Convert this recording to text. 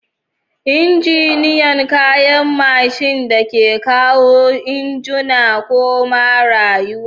Injiniyan kayan mashin da ke kawo injuna koma rayuwa.